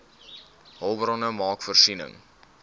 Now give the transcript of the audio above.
hulpbronne maak voorsiening